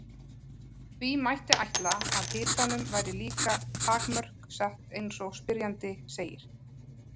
Því mætti ætla að hitanum væri líka takmörk sett eins og spyrjandi segir.